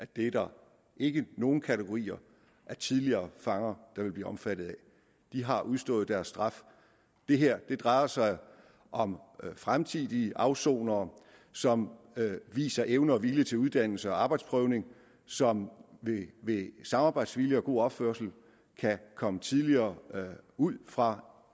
det er der ikke nogen kategorier af tidligere fanger der vil blive omfattet af de har udstået deres straf det her drejer sig om fremtidige afsonere som viser evne og vilje til uddannelse og arbejdsprøvning og som ved samarbejdsvilje og god opførsel kan komme tidligere ud fra